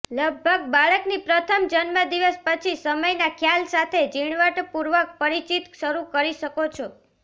લગભગ બાળકની પ્રથમ જન્મદિવસ પછી સમયના ખ્યાલ સાથે ઝીણવટપૂર્વક પરિચિત શરૂ કરી શકો છો